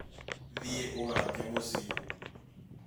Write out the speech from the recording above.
Thiĩ ũgaake mũciĩ